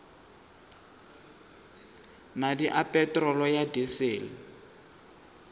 madi a peterolo ya disele